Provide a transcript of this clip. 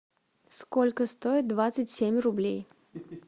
сколько стоит двадцать семь рублей